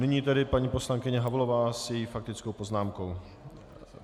Nyní tedy paní poslankyně Havlová se svou faktickou poznámkou.